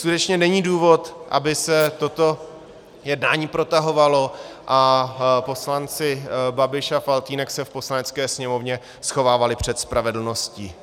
Skutečně není důvod, aby se toto jednání protahovalo a poslanci Babiš a Faltýnek se v Poslanecké sněmovně schovávali před spravedlností.